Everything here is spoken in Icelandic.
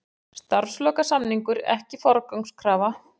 Starfslokasamningur ekki forgangskrafa